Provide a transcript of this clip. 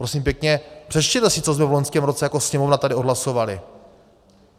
Prosím pěkně, přečtěte si, co jsme v loňském roce jako Sněmovna tady odhlasovali.